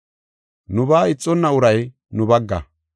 Nubaa ixonna uray nu bagga.